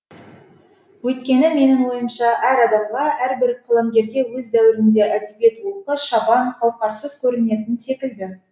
өйткені менің ойымша әр адамға әрбір қаламгерге өз дәуірінде әдебиет олқы шабан қауқарсыз көрінетін секілді